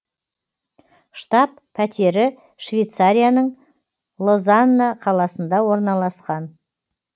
штаб пәтері швейцарияның лозанна қаласында орналасқан